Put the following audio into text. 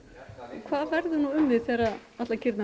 hvað verður nú um þið þegar allar kýrnar